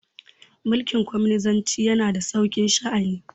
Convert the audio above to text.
mulikin cominisanci yana da sauki sha'ani